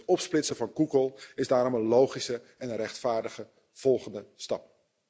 Het opsplitsen van Google is daarom een logische en een rechtvaardige volgende stap.